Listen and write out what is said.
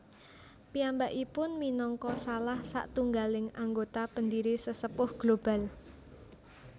Piyambakipun minangka salah satunggaling anggota pendiri Sesepuh Global